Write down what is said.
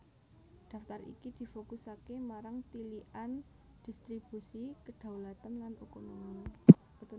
Daftar iki difokusaké marang tilikan dhistribusi kedhaulatan lan otonomi